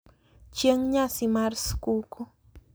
Chieng` nyasi mar skuku.